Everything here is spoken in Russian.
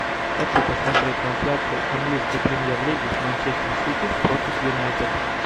хочу посмотреть трансляцию английской премьер лиги манчестер сити против юнайтед